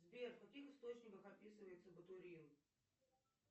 сбер в каких источниках описывается бутурил